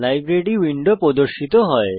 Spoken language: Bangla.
লাইব্রেরি উইন্ডো প্রদর্শিত হয়